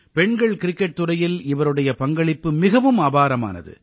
பெண்கள் கிரிக்கெட் துறையில் இவருடைய பங்களிப்பு மிகவும் அபாரமானது